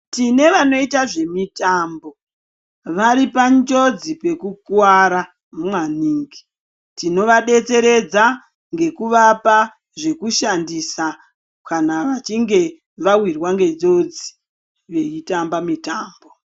Tine vanoita zvemutambo varipanjodzi dzekukuwara mwaningi tinovadetseredza ngekuvapa zvekushandisa kana vachinge vawirwa ngenjodzi vachitamba mutambo.